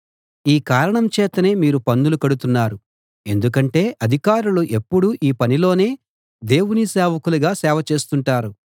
ఈ కారణం చేతనే మీరు పన్నులు కడుతున్నారు ఎందుకంటే అధికారులు ఎప్పుడూ ఈ పనిలోనే దేవుని సేవకులుగా సేవ చేస్తుంటారు